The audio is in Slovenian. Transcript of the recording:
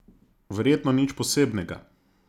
Verjetno nič posebnega.